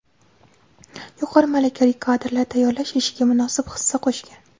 yuqori malakali kadrlar tayyorlash ishiga munosib hissa qo‘shgan.